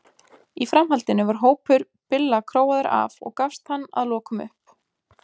í framhaldinu var hópur billa króaður af og gafst hann að lokum upp